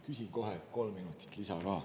Küsin kohe kolm minutit lisaaega ka.